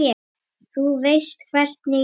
Þú veist hvernig ég er.